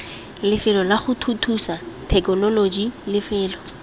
lefelo lago thuthusa thekenoloji lefelo